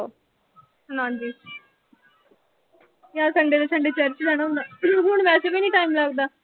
ਹਾਂਜੀ ਮੈਂ Sunday ਤੋਂ Sunday ਚਰਚ ਜਾਣਾ ਹੁੰਦਾ। ਮੈਨੂੰ ਹੁਣ ਵੈਸੇ ਵੀ ਨੀਂ time ਲਗਦਾ।